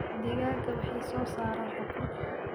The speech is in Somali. Digaagga waxay soo saaraan ukun.